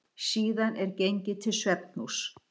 Síðan er gengið til svefnhúss.